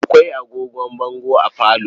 Akwai agogon bango a falo.